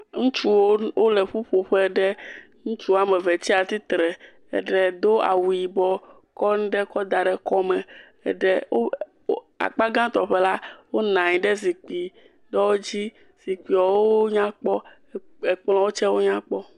Ŋutsuwo wo, wole ƒuƒoƒe ɖe. Ŋutsu woame ve tsi atitre. Eɖe do awu yibɔ kɔ ŋɖe kɔ da ɖe kɔme. Eɖe wo, wo, akpa gãtɔ ƒe la, wonaa nyi ɖe zikpi ɖewo dzi. Zikpiewoo nya kpɔ. Ekplɔ̃wo tsɛ wonya kpɔ.